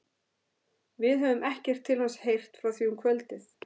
Við höfðum ekkert til hans heyrt frá því um kvöldið.